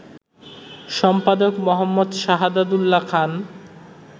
সম্পাদক মো. সাহাদাত উল্যা খান